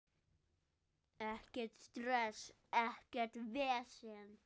Ekkert stress, ekkert vesen.